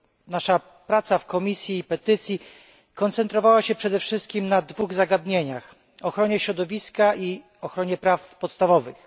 nasza praca w Komisji Petycji koncentrowała się przede wszystkim na dwóch zagadnieniach ochronie środowiska i ochronie praw podstawowych.